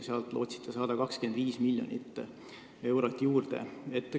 Sellega lootsite 25 miljonit eurot juurde saada.